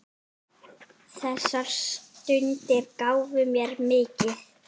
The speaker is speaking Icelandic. Þessar stundir gáfu mér mikið.